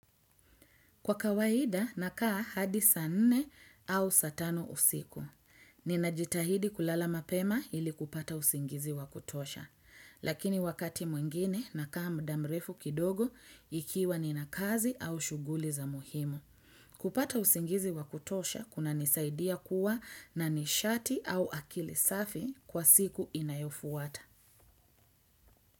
Kwa kawaida, nakaa hadi saa nne au saa tano usiku. Ninajitahidi kulala mapema, ili kupata usingizi wa kutosha. Lakini wakati mwingine, nakaa muda mrefu kidogo, ikiwa nina kazi au shughuli za muhimu. Kupata usingizi wa kutosha, kunanisaidia kuwa na nishati au akili safi kwa siku inayofuata.